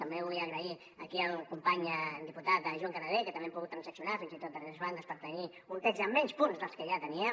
també vull agrair aquí al company diputat joan canadell que també hem pogut transaccionar fins i tot a tres bandes per tenir un text amb menys punts dels que ja teníem